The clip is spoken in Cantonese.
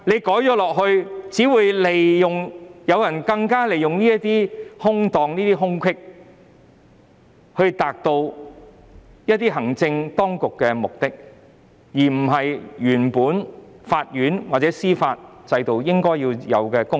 在作出修訂後，有心人只會利用當中的空子，以達到行政當局的目的，令法院或司法制度無法發揮應有功能。